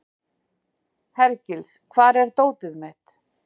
Hergils, hvar er dótið mitt?